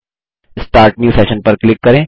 start new session पर click करें